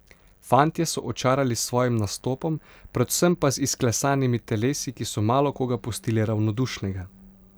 Fantje so očarali s svojim nastopom, predvsem pa z izklesanimi telesi, ki so malo koga pustili ravnodušnega.